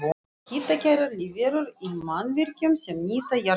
Hitakærar lífverur í mannvirkjum sem nýta jarðhita